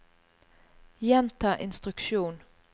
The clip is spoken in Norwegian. gjenta instruksjon